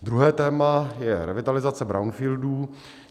Druhé téma je revitalizace brownfieldů.